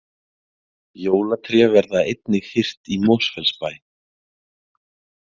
Jólatré verða einnig hirt í Mosfellsbæ